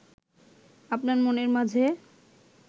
আপনার মনের মাঝে